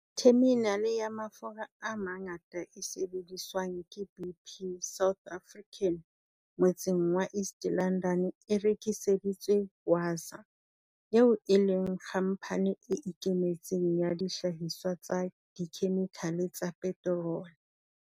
Theminale ya mafura a mangata e sebediswang ke BP Southern Africa motseng wa East London e rekiseditswe Wasaa, eo e leng khampani e ikemetseng ya dihlahiswa tsa dikhemikhale tsa peterole.